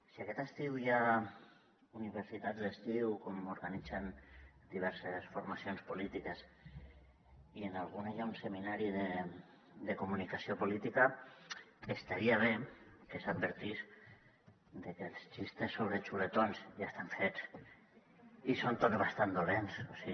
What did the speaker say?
si aquest estiu hi ha universitats d’estiu com organitzen diverses formacions polítiques i en alguna hi ha un seminari de comunicació política estaria bé que s’advertís que els acudits sobre txuletons ja estan fets i són tots bastant dolents o sigui